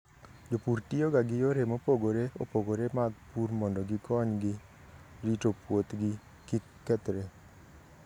Jopur tiyoga gi yore mopogore opogore mag pur mondo gikonygi rito puothgi kik kethre.